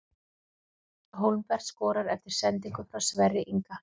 Hólmbert skorar eftir sendingu frá Sverri Inga!